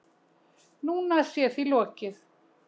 Núna sé því lokið